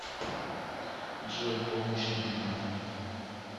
джой помощь нужна